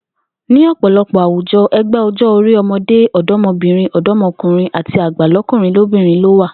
Ní ò̩pò̩lo̩pò̩ àwùjo̩, e̩gbé̩ o̩jó̩-orí o̩mo̩dé, o̩do̩mo̩bìnrin, ò̩dó̩mo̩kùnrin àti àgbà ló̩kùnrin lóbìnrin ló wà